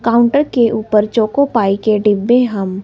counter के ऊपर Choco Pie के डिब्बे हम--